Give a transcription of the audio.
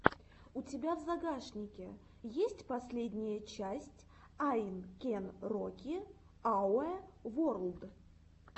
у тебя в загашнике есть последняя часть ай кэн роки ауэ ворлд